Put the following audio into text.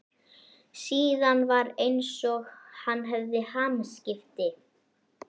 Síðan var einsog hann hefði hamskipti.